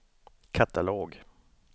katalog